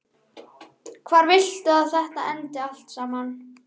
Villimey, áttu tyggjó?